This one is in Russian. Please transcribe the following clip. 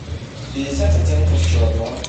пятьдесят оттенков черного